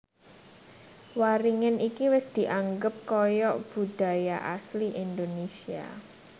Waringin iki wis dianggep kaya budaya asli Indonesia